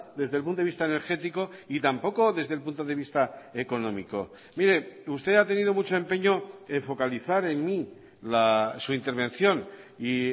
desde el punto de vista energético y tampoco desde el punto de vista económico mire usted ha tenido mucho empeño en focalizar en mí su intervención y